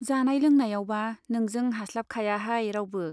जानाय लोंनायावबा नोंजों हास्लाबखायाहाय रावबो।